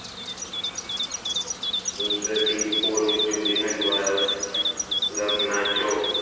De paul, Julian alvarez, Zernacho